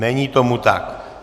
Není tomu tak.